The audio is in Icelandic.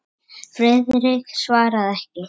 Friðrik svaraði ekki.